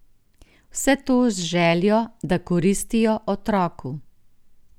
Vse to z željo, da koristijo otroku.